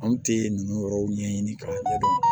An tɛ ninnu yɔrɔw ɲɛɲini kalan